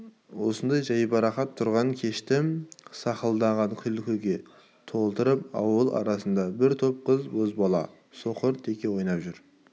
осындай жайбарақат торғын кешті сақылдаған күлкіге толтырып ауыл арасында бір топ қыз бозбала соқыр теке ойнап жүр